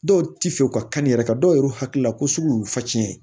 Dɔw ti fɛ u ka kanni yɛrɛ ka dɔw yɛrɛ hakilila ko sugu y'u facɛ ye